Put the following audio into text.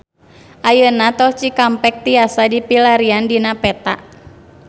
Ayeuna Tol Cikampek tiasa dipilarian dina peta